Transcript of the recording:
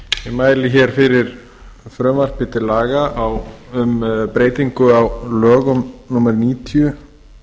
mæli hér fyrir frumvarpi til laga um breytingu á lögum númer níutíu